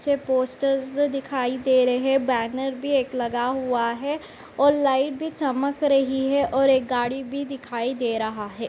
पीछे पोस्टर्स दिखाई दे रहे। बैनर भी एक लगा हुआ है और लाइट भी चमक रही है और एक गाड़ी भी दिखाई दे रहा है।